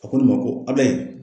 A ko ne ma ko Abilayi